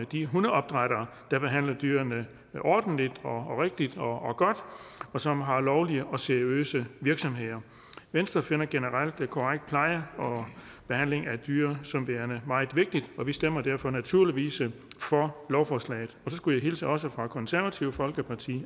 de hundeopdrættere der behandler dyrene ordentligt rigtigt og godt og som har lovlige og seriøse virksomheder venstre finder generelt korrekt pleje og behandling af dyr som værende meget vigtigt og vi stemmer derfor naturligvis for lovforslaget så skulle jeg hilse også fra det konservative folkeparti og